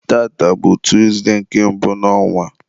tata bụ Tuzde nke mbụ n'ọnwa.